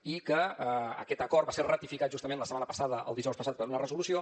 i que aquest acord va ser ratificat justament la setmana passada el dijous passat per una resolució